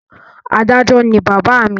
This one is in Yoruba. Adájọ́ ni bàbá mi.